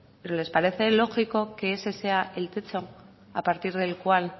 pero les parece lógico que ese sea el techo a partir del cual